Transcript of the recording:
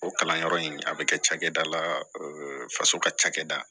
O kalanyɔrɔ in a bɛ kɛ cakɛda la faso ka cakɛda